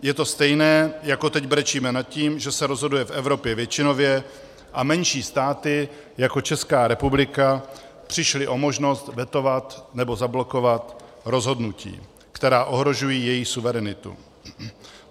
Je to stejné, jako teď brečíme nad tím, že se rozhoduje v Evropě většinově a menší státy jako Česká republika přišly o možnost vetovat nebo zablokovat rozhodnutí, která ohrožují jejich suverenitu.